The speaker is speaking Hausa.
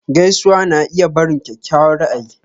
Gaisuwa na iya barin kyakkyawan ra'ayi.